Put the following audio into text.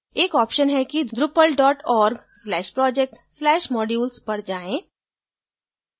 एक option है कि durpal dot org slash project slash modules पर जाएँ